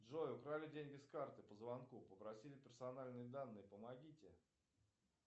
джой украли деньги с карты по звонку попросили персональные данные помогите